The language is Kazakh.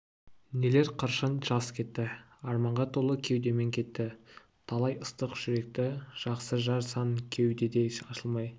нелер қыршын жас кетті арманға толы кеудемен кетті талай ыстық жүректі жақсы жар сан кеудеде ашылмай